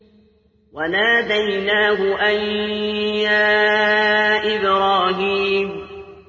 وَنَادَيْنَاهُ أَن يَا إِبْرَاهِيمُ